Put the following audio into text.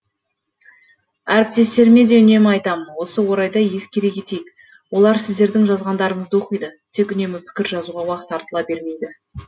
әріптестеріме де үнемі айтамын осы орайда ескере кетейік олар сіздердің жазғандарыңызды оқиды тек үнемі пікір жазуға уақыт артыла бермейді